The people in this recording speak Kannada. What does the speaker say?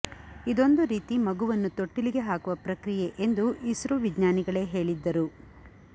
ಇದೊಂದು ರೀತಿ ಮಗುವನ್ನು ತೊಟ್ಟಿಲಿಗೆ ಹಾಕುವ ಪ್ರಕ್ರಿಯೆ ಎಂದು ಇಸ್ರೋ ವಿಜ್ಞಾನಿಗಳೇ ಹೇಳಿದ್ದರು